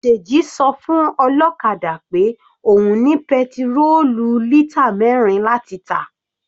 Deji sọ fún ọlọ́kadà pé òun ní petirólù lítà mẹrin láti tà.